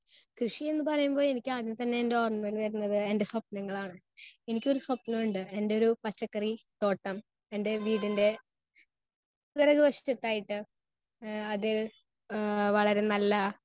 Speaker 1 കൃഷി എന്ന് പറയുമ്പോൾ എനിക്ക് ആദ്യം തന്നെ എന്താ ഓർമ്മവരുന്നത് എൻറെ സ്വപ്നങ്ങളാണ്. എനിക്കൊരു സ്വപ്നമുണ്ട് എന്റൊരു പച്ചക്കറി തോട്ടം എൻറെ വീടിൻറെ പിറകുവശത്തായിട്ട് ആഹ് അത് വളരെ നല്ല